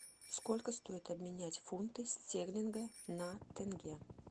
сколько стоит обменять фунты стерлинга на тенге